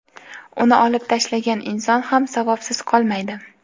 uni olib tashlagan inson ham savobsiz qolmaydi.